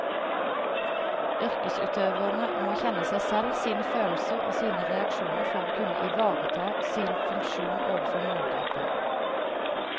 Yrkesutøverne må kjenne seg selv, sine følelser og sine reaksjoner for å kunne ivareta sin funksjon overfor målgruppen.